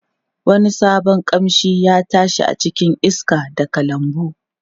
Wani sabon kamshi ya tashi a cikin iska daga lambun.